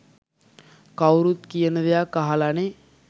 කවුරුත් කියන දෙයක් අහලනේ.